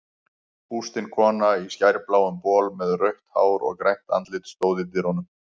Bústin kona í skærbláum bol með rautt hár og grænt andlit stóð í dyrunum.